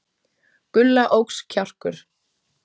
Gulla óx kjarkur.